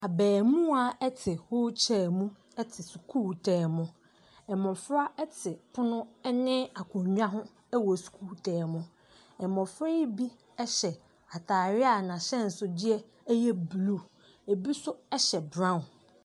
Abamuwa ɛte wheel chair mu ɛte sukuu dɛm mu. Mmofra ɛte pono ɛne akonwa ho ɛwɔ sukuu dɛm mu. Mmofra ne bi ɛhyɛ hyɛ ataare a n'ahyɛnso deɛ ɛyɛ blue. Ɛbi nso ɛhyɛ brown.